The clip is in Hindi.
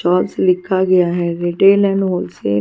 शॉप्स लिखा गया है रिटेल एंड होलसेल --